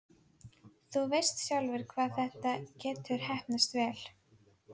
Þú veist sjálfur hvað þetta getur heppnast vel.